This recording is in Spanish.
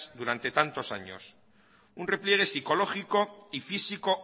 durante tantos años un repliegue psicológico y físico